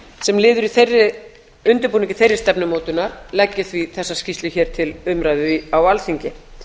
sem lið í undirbúningi þeirrar stefnumótunar legg ég því þessa skýrslu hér til umræðu á alþingi